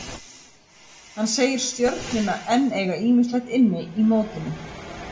Hann segir Stjörnuna enn eiga ýmislegt inni í mótinu.